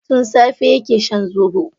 Tun safe yake shan zobo.